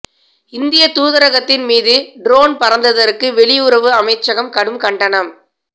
இந்திய தூதரகத்தின் மீது ட்ரோன் பறந்ததற்கு வெளியுறவு அமைச்சகம் கடும் கண்டனம்